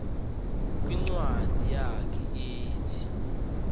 kwincwadi yakhe ethi